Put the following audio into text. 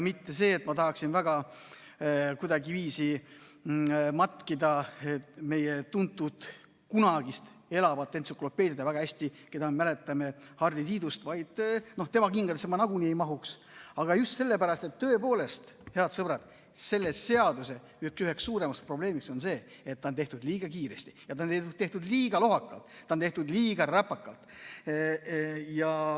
Mitte sellepärast, et ma tahaksin kuidagiviisi matkida meie tuntud kunagist elavat entsüklopeediat, keda me väga hästi mäletame, Hardi Tiidust, tema kingadesse ma nagunii ei mahuks, vaid just sellepärast, et tõepoolest, head sõbrad, selle seaduse üheks suuremaks probleemiks on see, et see on tehtud liiga kiiresti ja see on tehtud liiga lohakalt, see on tehtud liiga räpakalt.